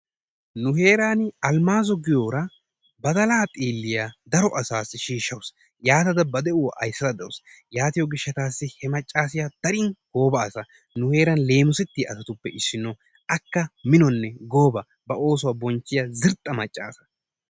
Nu heeran Almaazo giyoora badalaa xiiliya daro asaasi shiishawusu. Yatada ba de'uwa aysada de'awusu. Yaatiyo gishassi he macaasiya darin gooba asa. Nu heeran leemisettiya asatuppe issino, akka minonne gooba ba oosuwa bonchiya zirxxa macca asa.